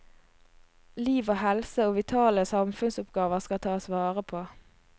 Liv og helse og vitale samfunnsoppgaver skal tas vare på.